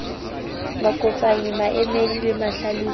makopanyi maemedi le mahlalosi ho